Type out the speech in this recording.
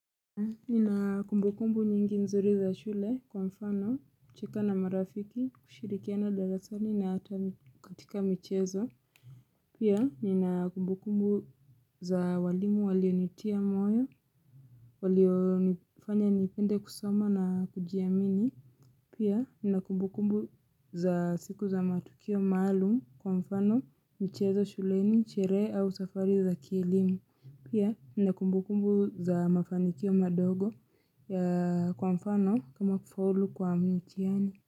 Nina kumbukumbu nyingi nzuri za shule kwa mfano, kucheka na marafiki, kushirikiana darasani na hata katika michezo. Pia, nina kumbukumbu za walimu walionitia moyo, walionifanya nipende kusoma na kujiamini. Pia, nina kumbukumbu za siku za matukio malum kwa mfano, michezo shuleni, sherehe au safari za kielimu. Pia nina kumbukumbu za mafanikio madogo ya, kwa mfano kama kufaulu kwa mtiani.